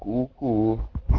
ку-ку